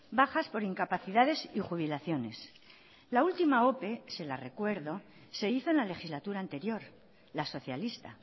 bajas por incapacidades y jubilaciones la última ope se la recuerdo se hizo en la legislatura anterior la socialista